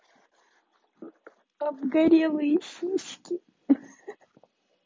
обгорелые сиськи ха-ха